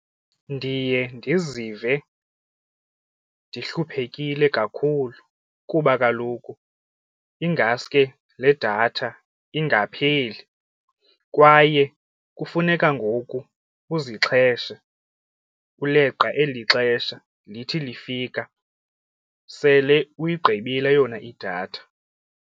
Ndiye ndizive ndihluphekile kakhulu kuba kaloku ingaske le datha ingapheli kwaye kufuneka ngoku uzixheshe uleqa eli xesha lithi lifika sele uyigqibile yona idatha.